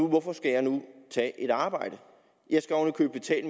hvorfor skal jeg nu tage et arbejde jeg skal oven